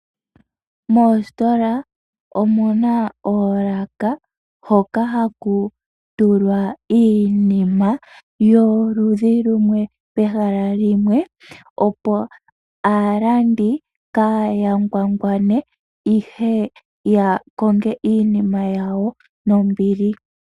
Moositola omuna oolaka hoka haku tulwa iinima yoludhi lumwe pehala limwe opo aalandi kaaaya ngwangwane ihe ya konge iinima yawo nombili.